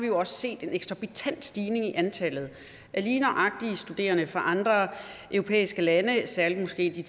jo også set en eksorbitant stigning i antallet af lige nøjagtig studerende fra andre europæiske lande særligt måske de